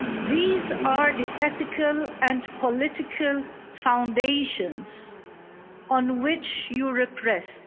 These are the ethical and political foundations on which Europe rests